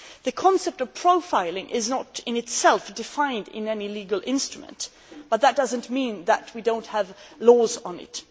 The concept of profiling is not, in itself, defined in any legal instrument, but that does not mean that we do not have laws on it.